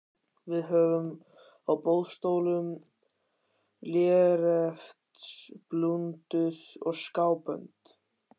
Við höfum á boðstólum léreftsblúndur og skábönd.